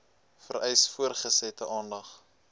vereis voortgesette aandag